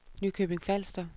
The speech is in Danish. Nykøbing Falster